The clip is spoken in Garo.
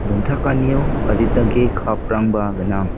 donchakanio adita ge cup -rangba gnang.